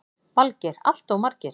Valgeir: Alltof margir?